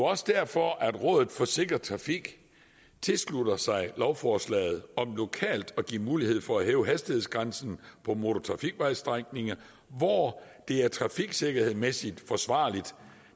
også derfor at rådet for sikker trafik tilslutter sig lovforslaget om lokalt at give mulighed for at hæve hastighedsgrænsen på motortrafikvejstrækninger hvor det er trafiksikkerhedsmæssigt forsvarligt